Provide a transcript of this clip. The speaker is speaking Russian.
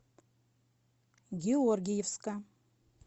георгиевска